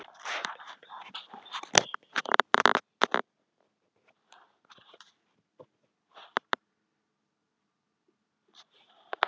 Ég er þakklátur fyrir að eiga þá konu að félaga og vini.